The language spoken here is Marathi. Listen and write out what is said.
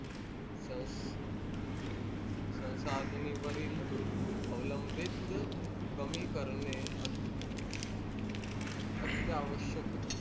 संसाधणी वरील अवलंबीत कमी करणे अति आवश्यक होते.